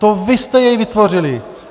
To vy jste jej vytvořili!